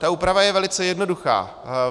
Ta úprava je velice jednoduchá.